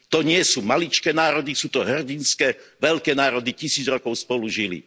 To nie sú maličké národy, sú to hrdinské veľké národy, tisíc rokov spolu žili.